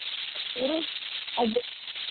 ಇರು .